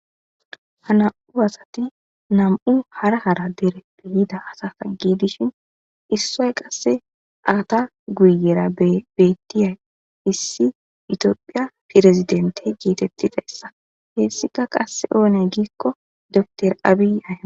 Ha nam'u asati nam'u hara hara dere peyida asata giidishin issoy qasse aata guyera bettiyay issi itiophiya firezidente geetettidayssa heessika qasse oone giikko dor aabi-